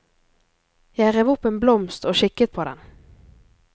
Jeg rev opp en blomst og kikket på den.